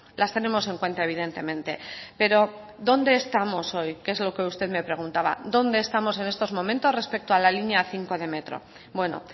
las tenemos en cuenta evidentemente pero dónde estamos hoy que es lo que usted me preguntaba dónde estamos en estos momentos respecto a la línea cinco de metro bueno